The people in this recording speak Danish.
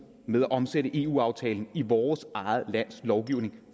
med at omsætte eu aftalen i vores eget lands lovgivning